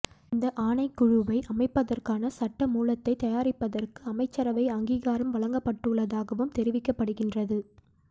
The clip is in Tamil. இந்த ஆணைக்குழுவை அமைப்பதற்கான சட்ட மூலத்தைத் தயாரிப்பதற்கு அமைச்சரவை அங்கீகாரம் வழங்கப்பட்டுள்ளதாகவும் தெரிவிக்கப்படுகின்றது